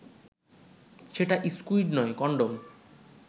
সেটা স্কুইড নয়, কনডম